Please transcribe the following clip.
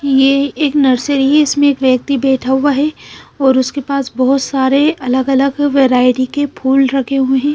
यह एक नर्सरी है इसमें एक व्यक्ति बैठा हुआ है और उसके पास बहोत सारे अलग अलग वैरायटी के फूल रखे हुए हैं।